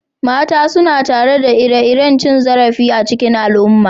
Mata suna tattare da ire-iren cin zarafi cikin al'umma.